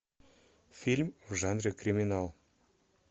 фильм в жанре криминал